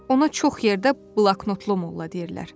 Ona çox yerdə bloknotlu molla deyirlər.